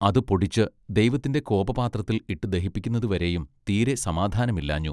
അതു പൊടിച്ച് ദൈവത്തിന്റെ കോപ പാത്രത്തിൽ ഇട്ടു ദഹിപ്പിക്കുന്നതു വരെയും തീരെ സമാധാനമില്ലാഞ്ഞു.